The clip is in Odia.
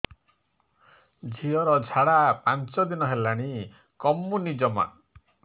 ଝିଅର ଝାଡା ପାଞ୍ଚ ଦିନ ହେଲାଣି କମୁନି ଜମା